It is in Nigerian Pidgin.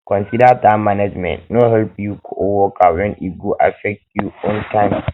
consider time management no help your coworker when e go affect you own time